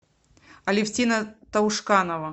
алевтина таушканова